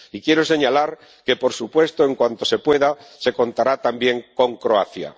Y quiero señalar que, por supuesto, en cuanto se pueda, se contará también con Croacia.